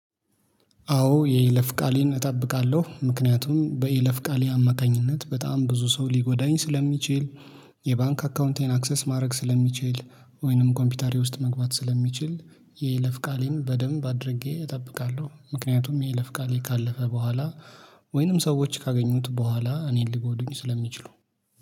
አዎ የይለፍ ቃሌን እጠብቃለሁ ምክንያቱም በይለፍ ቃሌ አማካኝነት በጣም ብዙ ሰው ሊጎዳኝ ስለሚችል። የባንክ አካውንቴን አክሰስ ማድረግ ስለሚችል ወይንም ኮምፒውተሬ ውስጥ መግባት ስለሚችል። የይለፍ ቃሌን በደንብ አድርጌ እጠብቃለሁ ምክንያቱም የይለፍ ቃሌ ካለፈ በኋላ። ወይንም ሰዎች ካገኙት በኋላ እኔን ሊጎዱኝ ስለሚችሉ